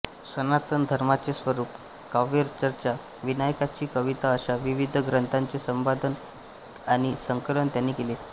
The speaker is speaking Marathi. सनातन धर्माचे स्वरूप काव्यचर्चा विनायकाची कविता अशा विविध ग्रंथांचे संपादन आणि संकलन त्यांनी केले